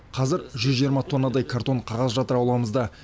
қазір жүз жиырма тоннадай картон қағаз жатыр ауламызда